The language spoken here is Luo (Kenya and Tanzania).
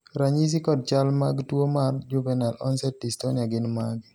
ranyisi kod chal mag tuo mar Juvenile onset dystonia gin mage?